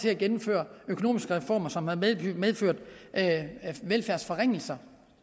at gennemføre økonomiske reformer som har medført velfærdsforringelser